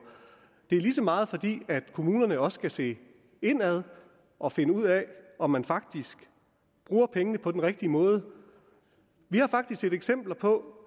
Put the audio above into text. det er lige så meget fordi kommunerne også skal se indad og finde ud af om man faktisk bruger pengene på den rigtige måde vi har faktisk set eksempler på